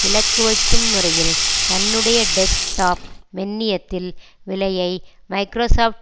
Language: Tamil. இலக்கு வைக்கும் முறையில் தன்னுடைய டெஸ்க்டாப் மென்னியத்தில் விலையை மைக்ராசாப்ட்